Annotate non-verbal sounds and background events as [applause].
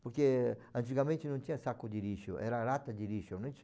Porque antigamente não tinha saco de lixo, era lata de lixo, [unintelligible]